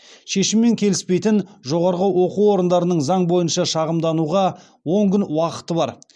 шешіммен келіспейтін жоғарғы оқу орындарының заң бойынша шағымдануға он күн уақыты бар